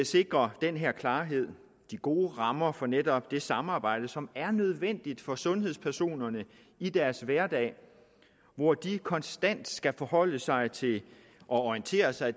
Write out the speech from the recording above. sikrer den her klarhed de gode rammer for netop det samarbejde som er nødvendigt for sundhedspersonerne i deres hverdag hvor de konstant skal forholde sig til og orientere sig